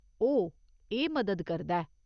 ओह्, एह् मदद करदा ऐ।